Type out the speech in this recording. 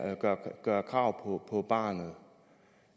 gør krav på barnet